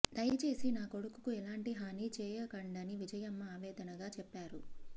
దయచేసి నా కొడుకుకు ఎలాంటి హానీ చేయకండని విజయమ్మ ఆవేదనగా చెప్పారు